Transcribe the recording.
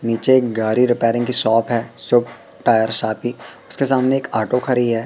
नीचे एक गाड़ी रिपेयरिंग की शॉप है शॉप टायर शोपी उसके सामने एक ऑटो खड़ी है।